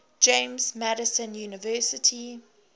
james madison university